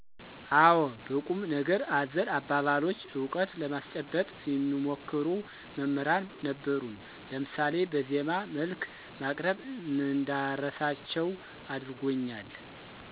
አወ። በቁም ነገር አዘል አባባሎች እውቀት ለማስጨበጥ የሚሞክሩ መምሕራን ነበሩን ለምሳሌ በዜማ መልክ ማቅረብ እንዳረሳቸው አድርጎኛል።